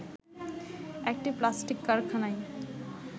একটি প্লাস্টিক কারখানায়